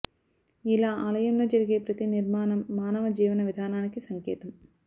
ఇలా ఆలయంలో జరిగే ప్రతి నిర్మాణం మానవ జీవన విధానానికి సంకేతం